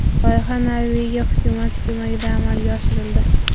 Loyiha Norvegiya hukumati ko‘magida amalga oshirildi.